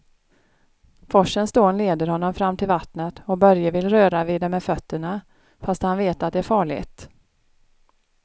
Forsens dån leder honom fram till vattnet och Börje vill röra vid det med fötterna, fast han vet att det är farligt.